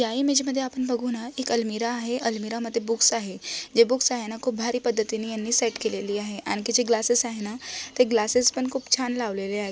या इमेज मध्ये आपण बघून आहात एक अल्मिराह आहे अल्मिराहमध्ये बुक्स आहे जे बुक्स आहेना खूप भारी पद्धतीने यांनी सेट केलेली आहे आणखी जे ग्लासेस आहेना ते ग्लासेस पण खूप छान लावलेले आहेत.